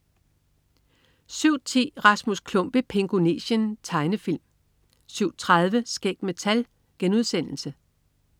07.10 Rasmus Klump i Pingonesien. Tegnefilm 07.30 Skæg med tal*